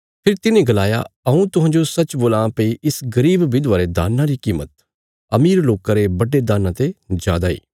फेरी तिन्हें गलाया हऊँ तुहांजो सच्च बोलां भई इस गरीब विधवा रे दान्ना री कीमत अमीर लोकां रे बड्डे दान्ना ते जादा इ